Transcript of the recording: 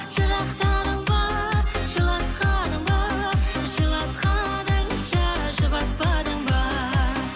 жырақтадың ба жылатқаның ба жылатқаныңша жұбатпадың ба